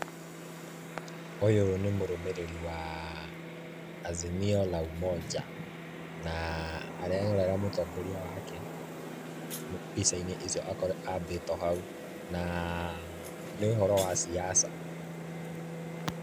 Ũyũ nĩ mũrũmĩrĩri wa Azimio la Umoja, na arerorera mũtongoria wake mbica-inĩ icio ambĩtwo hau, na nĩ ũhoro wa siasa.